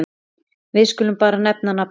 Við skulum bara nefna nafnið.